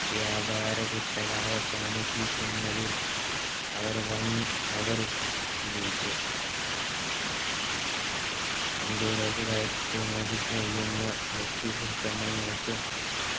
വ്യാപാര കുത്തക അവസാനിപ്പിക്കുന്നതിൽ അവർ വൻ അവർ വിജയിച്ചു ഇന്ത്യയിലേക്ക് കയറ്റുമതി ചെയ്യുന്ന British ഉൽപ്പന്നങ്ങൾക്ക്